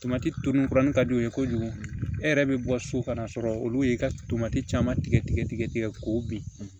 Tomati tumu kuranni ka d'u ye kojugu e yɛrɛ bɛ bɔ so ka n'a sɔrɔ olu ye i ka tomati caman tigɛ tigɛ tigɛ tigɛ k'o bin